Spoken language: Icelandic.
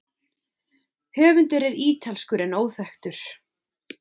Höfundur er ítalskur en óþekktur.